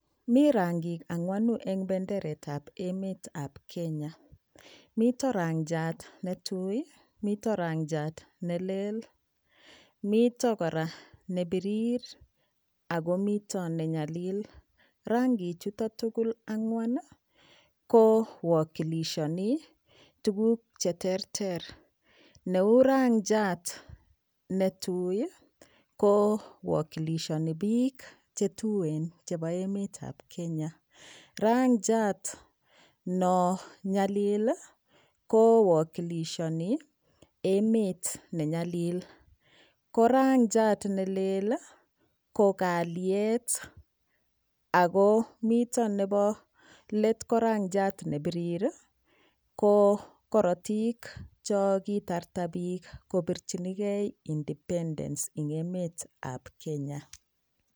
Mi rangik angwanu eng benderet AP emet ab emet ab Kenya mito rangiat netui mito rangiat nelel mito kora nepirir akomito nenyalil rangichuto tugul angwan kowokilishani tukuk cheterter neu rangiat netui kowokilishani piik chetuen chebo emet ab Kenya rangiat no nyalili kowokilishani emet nenyalil ko rangiat nelel ko kalyat Ako mito nebo let ko rangiat nepirir ko korotinwek chokitarta piik kopirchinigei independence eng emet ab Kenya.